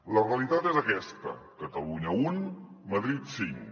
la realitat és aquesta catalunya un madrid cinc